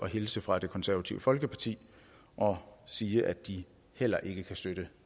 hilse fra det konservative folkeparti og sige at de heller ikke kan støtte